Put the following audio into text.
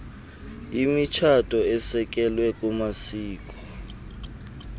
imitshato esekelwe kumasiko